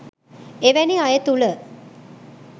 එවැනි අය තුළ